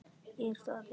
Er það í bígerð?